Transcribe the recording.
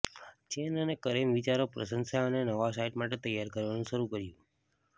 chain અને કરીમ વિચારો પ્રશંસા અને નવા સાઇટ માટે તૈયાર કરવાનું શરૂ કર્યું